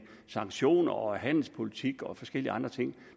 sanktioner handelspolitik og forskellige andre ting